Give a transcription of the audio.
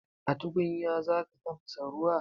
A tukunya za ka tafasa ruwa?